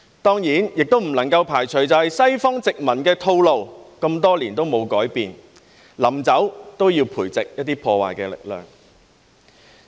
當然，也不能排除西方殖民的套路，那麼多年也沒有改變，臨走也要培植一些破壞力量。